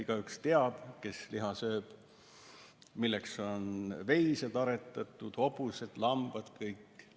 Igaüks, kes liha sööb, teab, milleks on aretatud veised, hobused, lambad – need kõik.